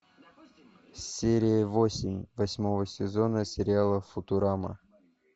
серия восемь восьмого сезона сериала футурама